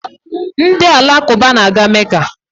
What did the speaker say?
Ndị Alakụba na-aga Mecca